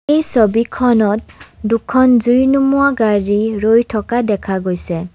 এই ছবিখনত দুখন জুই নোমোৱা গাড়ী ৰৈ থকা দেখা গৈছে।